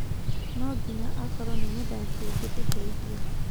No ginya akoro nĩ mũthakĩ ũngĩtũteithia.